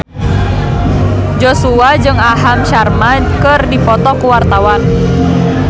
Joshua jeung Aham Sharma keur dipoto ku wartawan